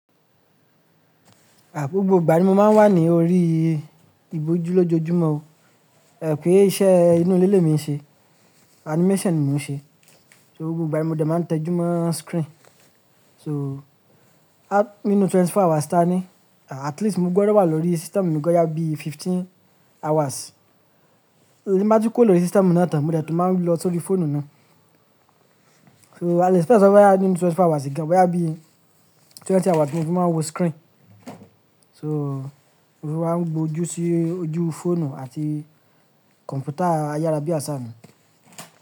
À gbogbo ìgbà ni mo máa ń wà ní orí ibojú lójoojúmọ́ o. Ẹ̀ mo pe iṣẹ́ inú ilé ni èmi ń ṣe, animation ni mo ń ṣe. So gbogbo ìgbà mo dẹ́ẹ̀ máa ń tẹjúmọ́ screen. So nínú twenty four hours ta ni, at least mo gbọdọ̀ wà lórí system mi bọ́yà bí fifteen hours. Bí mo bá tún kúrò lórí system náà tàn mo dẹ́ẹ̀ tún mo máa ń lọ sórí fóònù náà. So i'll expect bóyá nínú twenty four hours gan. Bọ́yà bí twenty hours ni mo fi máa ń wo screen. So mo máa ń gbo ojú sí ojú fóònù àti kọ̀m̀pútà ayárábiásà mi.